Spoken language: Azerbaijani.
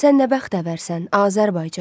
Sən nə bəxtəvərsən, Azərbaycan.